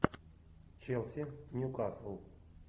челси ньюкасл